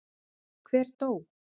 Hver dó?